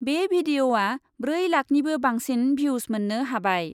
बे भिडिअ'आ ब्रै लाखनिबो बांसिन भिउस मोन्नो हाबाय।